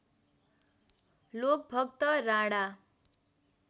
Lokbhakta Rana